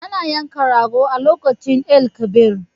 Ana yanka rago a lokacin Eid el- kabir